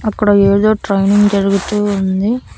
అక్కడ ఏదో ట్రైనింగ్ జరుగుతూ ఉంది.